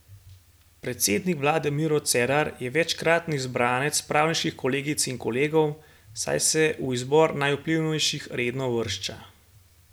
Predsednik vlade Miro Cerar je večkratni izbranec pravniških kolegic in kolegov, saj se v izbor najvplivnejših redno uvršča.